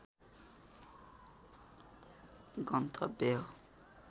गन्तव्य हो